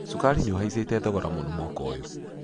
Cukari nĩũhaicĩte thogora mũno mwaka ũyũ.